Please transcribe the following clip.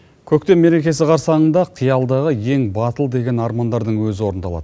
көктем мерекесі қарсаңында қиялдағы ең батыл деген армандардың өзі орындалады